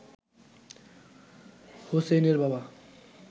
হোসেইনের বাবা